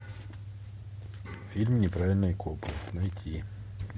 фильм неправильные копы найти